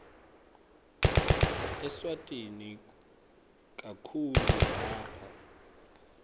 eswatini kakhulu lapha